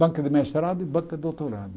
Banca de mestrado e banca de doutorado.